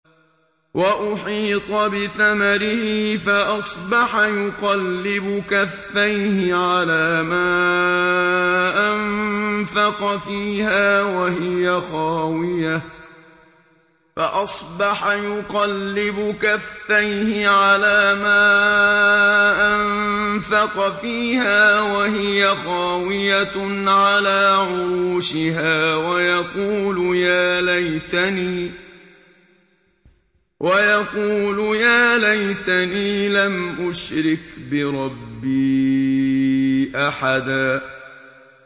وَأُحِيطَ بِثَمَرِهِ فَأَصْبَحَ يُقَلِّبُ كَفَّيْهِ عَلَىٰ مَا أَنفَقَ فِيهَا وَهِيَ خَاوِيَةٌ عَلَىٰ عُرُوشِهَا وَيَقُولُ يَا لَيْتَنِي لَمْ أُشْرِكْ بِرَبِّي أَحَدًا